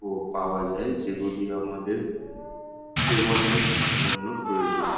ও পাওয়া যায় যেগুলি আমাদের সেবনের জন্য প্রয়োজনীয়।